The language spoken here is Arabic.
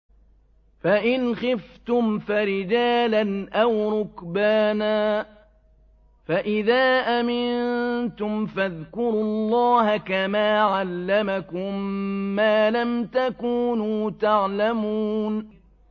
فَإِنْ خِفْتُمْ فَرِجَالًا أَوْ رُكْبَانًا ۖ فَإِذَا أَمِنتُمْ فَاذْكُرُوا اللَّهَ كَمَا عَلَّمَكُم مَّا لَمْ تَكُونُوا تَعْلَمُونَ